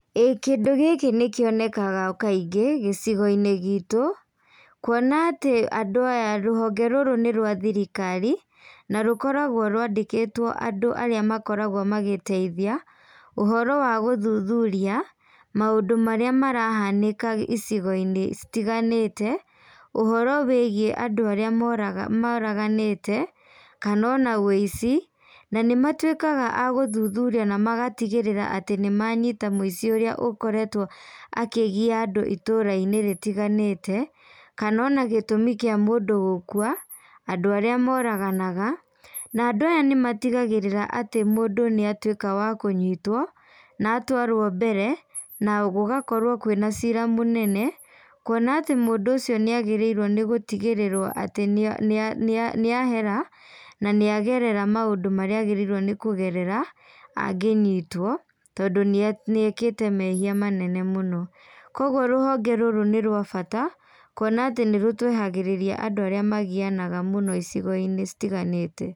Ĩĩ kĩndũ gĩkĩ nĩkionekaga kaingĩ, gĩcigoinĩ gitũ, kuona atĩ andũ aya rũhonge rũrũ nĩ rwa thirikari, na rũkoragwo rwandĩkĩtwo andũ arĩa makoragwo magĩteithia, ũhoro wa gũthuthuria, maũndũ marĩa marahanĩka ĩcigoinĩ citiganĩte, ũhoro wĩgiĩ andũ arĩa moraga moraganĩte, kana ona wĩici, na nĩmatuĩkaga agũthuthuria namagatigĩrĩra nĩmanyita mũici ũrĩa ũkoretwo akĩgia andũ iturainĩ rĩtiganĩte, kana ona gĩtumi kĩa mũndũ gũkua, andũ arĩa moraganaga, na andũ aya nĩmatigagĩrĩra atĩ mũndũ nĩ atuĩka wa kũnyitwo, na atwarwo mbere, na gũgakorwo kwĩna cira mũnene, kuona atĩ mũndũ ũcio nĩagĩrĩirwo nĩgũtigĩrĩrwo atĩ nĩa nĩa nĩa nĩahera, na nĩagerera maũndũ marĩa agĩrĩirwo nĩkũgerera angĩnyitwo, tondũ nĩ nĩekĩte mehia manene mũno. Koguo rũhonge rũrũ nĩ rwa bata, kuona atĩ nĩtũehagĩrĩria andũ arĩa magianaga mũno icigoinĩ citiganĩte.